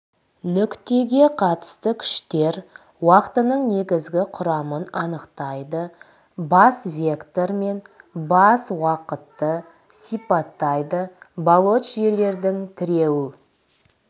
нүктеге қатысты күштер уақытының негізгі құрамын анықтайды бас вектор мен бас уақытты сипаттайды балоч жүйелердің тіреу